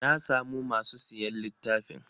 Na samu masu siyan littafin.